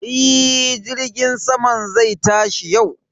E, jirgin saman zai tashi yau